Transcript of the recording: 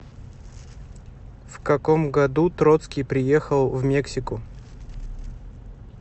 в каком году троцкий приехал в мексику